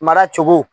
Mara cogo